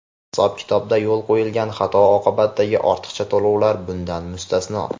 hisob-kitobda yo‘l qo‘yilgan xato oqibatidagi ortiqcha to‘lovlar bundan mustasno.